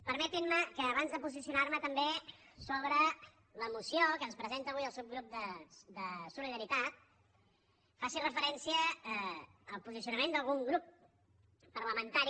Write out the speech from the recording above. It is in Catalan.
permetin me que abans de posicionar me també sobre la moció que ens presenta avui el subgrup de solidaritat faci referència al posicionament d’algun grup parlamentari